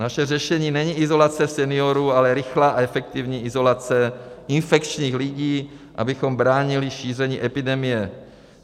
Naše řešení není izolace seniorů, ale rychlá a efektivní izolace infekčních lidí, abychom bránili šíření epidemie.